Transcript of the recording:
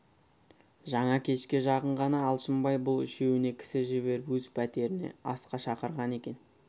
жаңа кешке жақын ғана алшынбай бұл үшеуіне кісі жіберіп өз пәтеріне асқа шақырған екен